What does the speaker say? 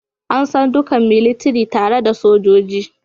An san dukan militiri tare da "Sojoji"